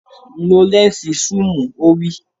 Lo lẹ́ǹsì súùmù! Ó wí.